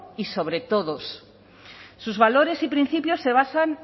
y sobre todos sus valores y principios se basan